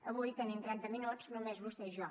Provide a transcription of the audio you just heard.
avui tenim trenta minuts només vostè i jo